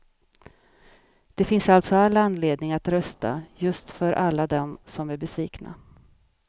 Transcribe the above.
Det finns alltså all anledning att rösta, just för alla dem som är besvikna.